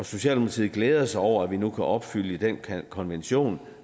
socialdemokratiet glæder sig over at vi nu kan opfylde den konvention